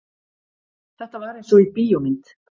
Þetta var einsog í bíómynd.